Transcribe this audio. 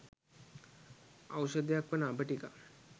ඖෂධයක් වන අබ ටිකක්